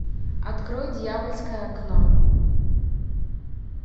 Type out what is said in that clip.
открой дьявольское окно